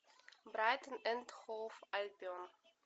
брайтон энд хоув альбион